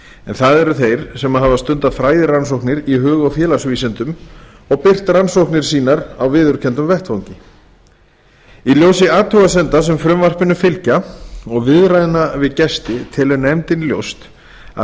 en það eru þeir sem hafa stundað fræðirannsóknir í hug eða félagsvísindum og birt rannsóknir sínar á viðurkenndum vettvangi í ljósi athugasemda sem frumvarpinu fylgja og viðræðna við gesti telur nefndin ljóst að